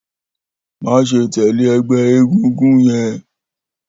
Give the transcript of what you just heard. Maṣe tẹle ẹgbẹ egungun yẹn!